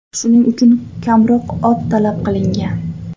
Shuning uchun kamroq ot talab qilingan.